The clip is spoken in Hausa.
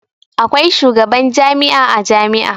Akwai shugaban jami'a a jami'a.